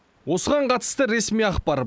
осыған қатысты ресми ақпар